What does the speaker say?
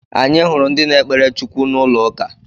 Anyị hụrụ ndị na-ekpere Chukwu n'ụlọ uka